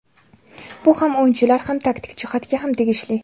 Bu ham o‘yinchilar ham taktik jihatga ham tegishli.